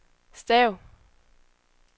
stav